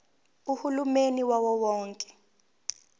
uhulumeni wawo wonke